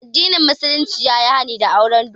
Addinin musulunci ya yi hani da auren dole